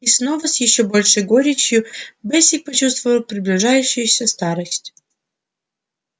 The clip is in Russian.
и снова с ещё большей горечью бэсик почувствовал приближающуюся старость